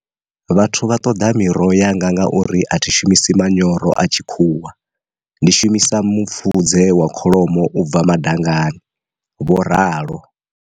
Vhathu vha ṱoḓa miroho yanga ngauri a thi shumisi manyoro a tshikhuwa, ndi shumisa mupfudze wa kholomo u bva madangani, vho ralo.